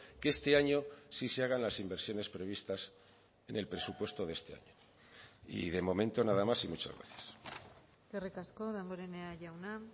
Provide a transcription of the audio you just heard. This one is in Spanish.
que este año sí se hagan las inversiones previstas en el presupuesto de este año y de momento nada más y muchas gracias eskerrik asko damborenea jauna